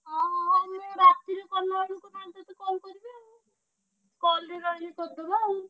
ହଁ ହଁ ହଁ ମୁଁ ରାତିରେ କଲାବେଳେ call କରିବି ଆଉ call ରେ ରହିଲେ କରିଦବୁ ଆଉ।